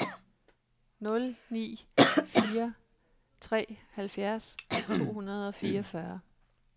nul ni fire tre halvfjerds to hundrede og fireogfyrre